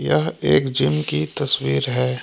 यह एक जिम की तस्वीर है।